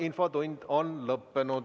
Infotund on lõppenud.